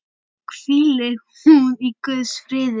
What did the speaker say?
Hvíli hún í Guðs friði.